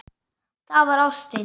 Það var ástin.